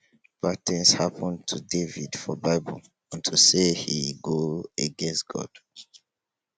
bad things happen to david for bible unto say he go against god